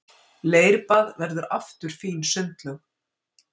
Leirbað verður aftur fín sundlaug